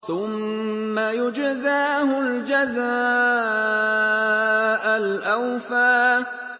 ثُمَّ يُجْزَاهُ الْجَزَاءَ الْأَوْفَىٰ